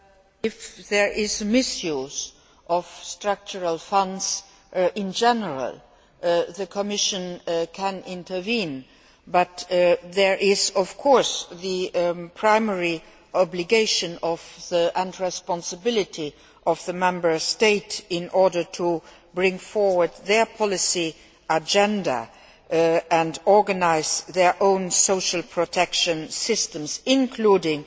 If there is a misuse of structural funds in general, the Commission can intervene, but there is, of course, the primary obligation and responsibility of the Member State in order to bring forward their policy agenda and organise their own social protection systems, including